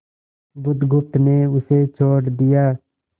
बुधगुप्त ने उसे छोड़ दिया